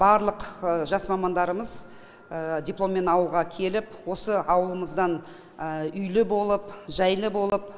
барлық жас мамандарымыз дипломмен ауылға келіп осы ауылымыздан үйлі болып жайлы болып